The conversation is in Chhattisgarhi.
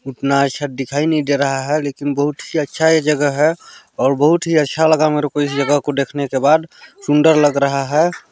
उतना अच्छा दिखाई नहीं दे रहा है लेकिन बहुत ही अच्छा ये जगह है और बहुत ही अच्छा लगा मेरे को इस जगह को देखने के बाद सुंदर लग रहा है।